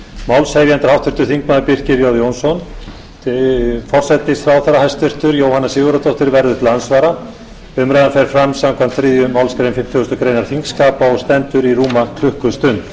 málshefjandi er háttvirtur þingmaður birkir j jónsson forsætisráðherra hæstvirtur jóhanna sigurðardóttir verður til andsvara umræðan fer fram samkvæmt þriðju málsgrein fimmtugustu grein þingskapa og stendur í rúma klukkustund